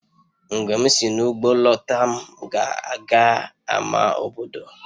Mgbe m si n'ugbo lọta, m ga-aga ama obodo